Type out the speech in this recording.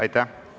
Aitäh!